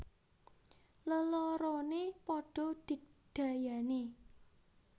Leloroné padha digdayané